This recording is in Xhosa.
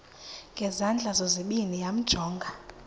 ngezandla zozibini yamjonga